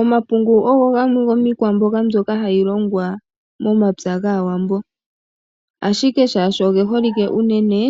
Omapungu ogo gamwe gomiikwamboga mbyoka hayi longwa momapya gaawambo. ashike shaashi oge holike unene,